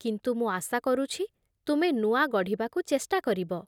କିନ୍ତୁ ମୁଁ ଆଶା କରୁଛି, ତୁମେ ନୂଆ ଗଢ଼ିବାକୁ ଚେଷ୍ଟା କରିବ ।